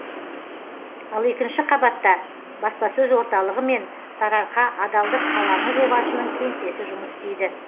ал екінші қабатта баспасөз орталығы мен сарыарқа адалдық алаңы жобасының кеңсесі жұмыс істейді